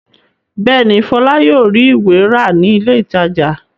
Bẹ́ẹ̀ ni, Fọlá yóò rí ìwé rà ní ilé-ìtajà.